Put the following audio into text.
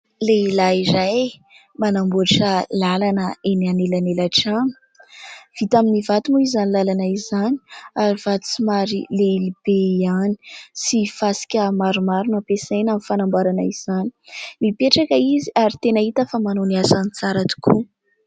Lehilahy iray manamboatra lalana eny anelanelan-trano. Vita amin'ny vato moa izany lalana izany ary vato somary lehibe ihany sy fasika maromaro nampiasaina ho fanamboarana izany. Mipetraka izy ary tena hita fa manao ny asany tsara tokoa.